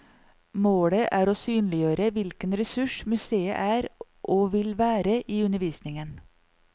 Målet er å synliggjøre hvilken ressurs museet er og vil være i undervisningen.